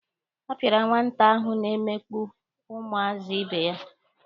A pịara nwata ahụ na-emegbu ụmụazị ibe ya.